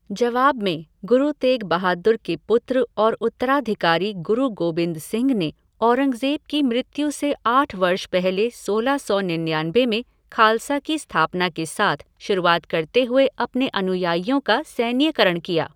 जवाब में, गुरु तेग बहादुर के पुत्र और उत्तराधिकारी गुरु गोबिंद सिंह ने औरंगज़ेब की मृत्यु से आठ वर्ष पहले सोलह सौ निन्यानबे में खालसा की स्थापना के साथ शुरुआत करते हुए अपने अनुयायियों का सैन्यकरण किया।